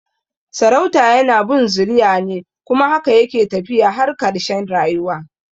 Sarauta yana bin zuriya ne kuma haka yake tafiya har karshe rayuwa